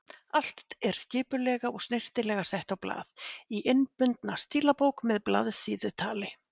Allt er skipulega og snyrtilega sett á blað, í innbundna stílabók með blaðsíðutali.